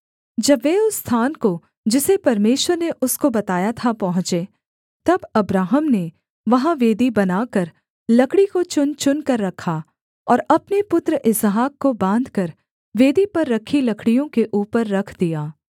जब वे उस स्थान को जिसे परमेश्वर ने उसको बताया था पहुँचे तब अब्राहम ने वहाँ वेदी बनाकर लकड़ी को चुनचुनकर रखा और अपने पुत्र इसहाक को बाँधकर वेदी पर रखी लकड़ियों के ऊपर रख दिया